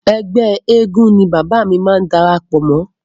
Ẹgbẹ́ eégún ni bàbá máa darapọ̀ mọ́..